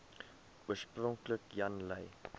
oorspronklik jan lui